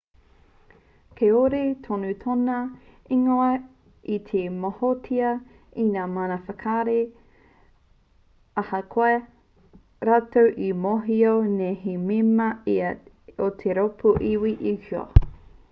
kāore tonu tōna ingoa i te mōhiotia e ngā mana whakahaere ahakoa rātou e mōhio nei he mema ia o te rōpū iwi uighur